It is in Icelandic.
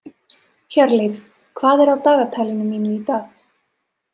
Hjörleif, hvað er á dagatalinu mínu í dag?